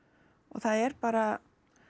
og það er bara